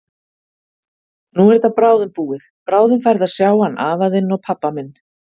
Nú er þetta bráðum búið, bráðum færðu að sjá hann afa þinn og pabba minn.